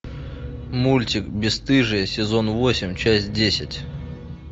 мультик бесстыжие сезон восемь часть десять